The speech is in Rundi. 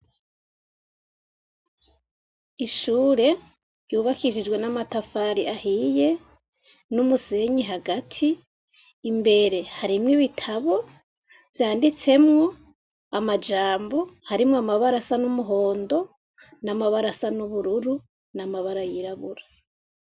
Ishure ryubakishijwe namatafari ahiye numusenyi hagati, imbere hariyo ibitabo vyanditsemwo amajambo arimwo amabara asa numuhondo namabara asa nubururu namabara yirabura.